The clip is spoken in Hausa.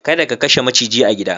Kada ka kashe maciji a gida.